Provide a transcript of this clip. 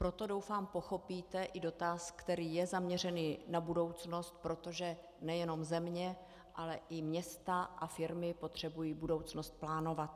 Proto, doufám, pochopíte i dotaz, který je zaměřený na budoucnost, protože nejenom země, ale i města a firmy potřebují budoucnost plánovat.